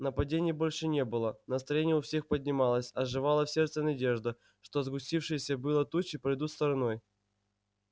нападений больше не было настроение у всех поднималось оживала в сердце надежда что сгустившиеся было тучи пройдут стороной